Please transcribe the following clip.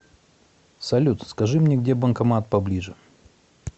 салют скажи мне где банкомат поближе